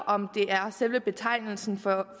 om det er selve betegnelsen for